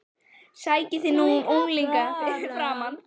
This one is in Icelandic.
Sækið þið nú unglingana fyrir mig!